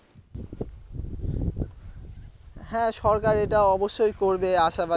হ্যাঁ সরকার এটা অবশ্যই করবে আশা